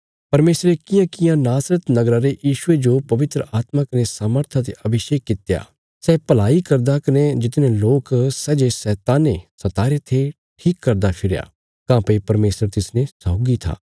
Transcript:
परमेशरे कियांकियां नासरत नगरा रे यीशुये जो पवित्र आत्मा कने सामर्था ते अभिषेक कित्या सै भलाई करदा कने जितने लोक सै जे शैताने सताईरे थे ठीक करदा फिरया काँह्भई परमेशर तिसने सौगी था